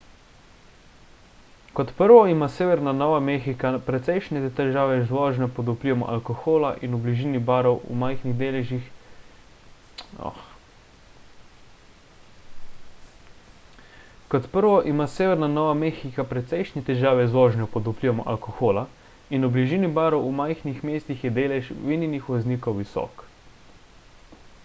kot prvo ima severna nova mehika precejšnje težave z vožnjo pod vplivom alkohola in v bližini barov v majhnih mestih je delež vinjenih voznikov visok